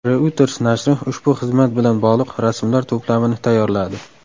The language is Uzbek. Reuters nashri ushbu xizmat bilan bog‘liq rasmlar to‘plamini tayyorladi.